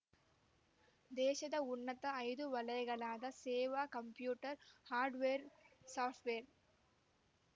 ದೇಶದ ಉನ್ನತ ಐದು ವಲಯಗಳಾದ ಸೇವೆ ಕಂಪ್ಯೂಟರ್ ಹಾರ್ಡ್‌ವೇರ್ಸಾಫ್ಟ್‌ವೇರ್